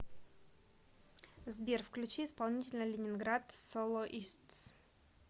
сбер включи исполнителя ленинград солоистс